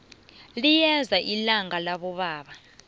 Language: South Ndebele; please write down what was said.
liyeza ilanga labobaba